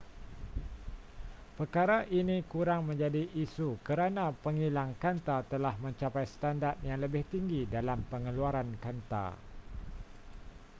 perkara ini kurang menjadi isu kerana pengilang kanta telah mencapai standard yang lebih tinggi dalam pengeluaran kanta